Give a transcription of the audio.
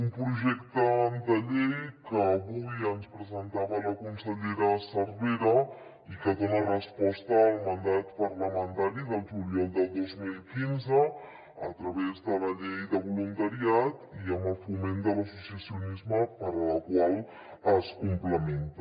un projecte de llei que avui ens presentava la consellera cervera i que dona resposta al mandat parlamentari del juliol del dos mil quinze a través de la llei de voluntariat i amb el foment de l’associacionisme amb la qual es complementa